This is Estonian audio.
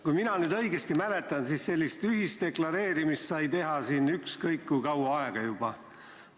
Kui ma nüüd õigesti mäletan, siis sellist ühisdeklareerimist sai teha ükskõik kui kaua aega juba.